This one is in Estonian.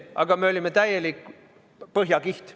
Aga me olime täielik põhjakiht.